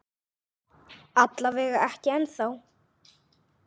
Alla vega ekki ennþá.